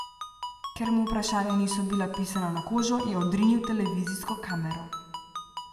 Ker mu vprašanja niso bila pisana na kožo, je odrinil televizijsko kamero.